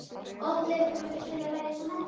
Oddleifur, kanntu að spila lagið „Sonnetta“?